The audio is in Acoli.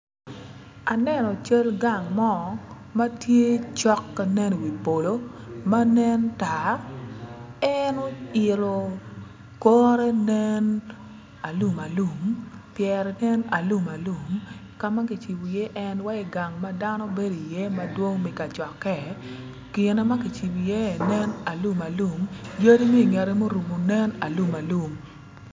Aneno cal gang mo ma tye cok ka nen i wi polo ma nen tar en oilo kore nen alum pyere nen alum alum ka ma kicibo iye en wai gang ma dano gibedo iye madwong mi kacokke gine ma kicibo iye nen alum alum yadi mi i ngette muromo nen alum alum